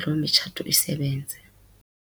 loo mitshato isebenze.